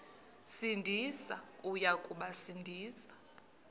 sindisi uya kubasindisa